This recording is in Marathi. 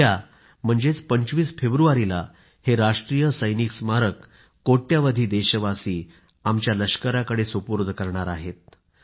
उद्या म्हणजेच 25 फेब्रुवारीला हे राष्ट्रीय सैनिक स्मारक आम्ही कोट्यवधी देशवासी आमच्या लष्कराकडे सुपूर्द करणार आहोत